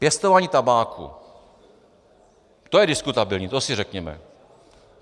Pěstování tabáku, to je diskutabilní, to si řekněme.